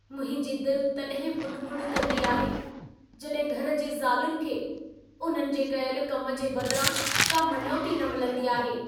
मुंहिंजी दिल तॾहिं ॿुॾ-ॿुॾ कंदी आहे, जॾहिं घर जी ज़ालुनि खे उन्हनि जे कयल कम जे बदिरां का मञोती न मिलंदी आहे।